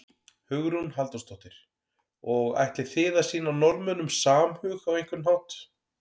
Hugrún Halldórsdóttir: Og ætlið þið að sýna Norðmönnum samhug á einhvern hátt?